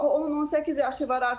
O onun 18 yaşı var.